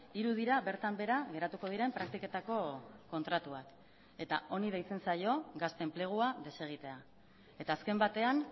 hiru dira bertan behera geratuko diren praktiketako kontratuak eta honi deitzen zaio gazte enplegua desegitea eta azken batean